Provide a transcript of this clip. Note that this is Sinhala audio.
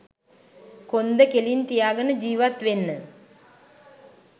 කොන්ද කෙලින් තියාගෙන ජිවත් වෙන්න